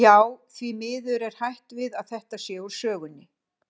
Já, því miður er hætt við að þetta sé úr sögunni.